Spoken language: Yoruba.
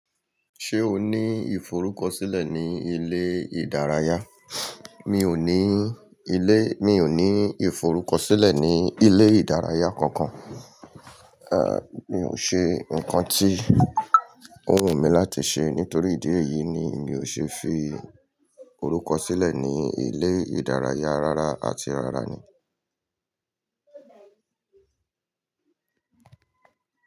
Ṣé o ní ìforúkọ sílẹ̀ ní ilé ìdárayá? Mi ò ní ilé, mi ò ní ìforúkọ sílẹ̀ ní ilé ìdárayá kankan. À, mi ò ṣe ńkan tí ó wù mí láti ṣe nítorí ìdí èyí ni mi ò ṣe é fi orúkọ sílẹ̀ ní ilé ìdárayá rara àti rara ni.